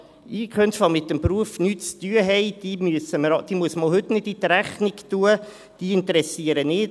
Also: Einkünfte, die mit dem Beruf nichts zu tun haben, muss man auch heute nicht in die Rechnung tun, diese interessieren nicht.